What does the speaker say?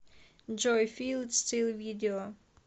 джой фил ит стил видео